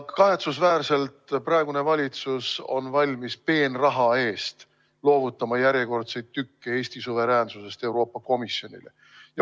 Kahetsusväärselt on praegune valitsus valmis peenraha eest loovutama järjekordseid tükke Eesti suveräänsusest Euroopa Komisjonile.